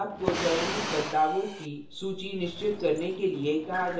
आपको चयनित बदलावों की सूची निश्चित करने के लिए कहा जायेगा